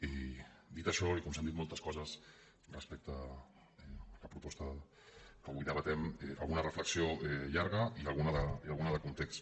i dit això i com que s’han dit moltes coses respecte a la proposta que avui debatem alguna reflexió llarga i alguna de context